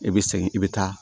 I bɛ segin i bɛ taa